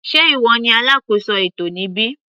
Sé ìwọ ní alákóso ètò níbí.